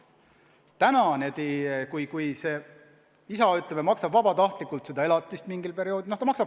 Täna võib-olla isa ütleb, et maksab vabatahtlikult seda elatisraha mingil perioodil.